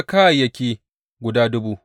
Ga lissafin kayan.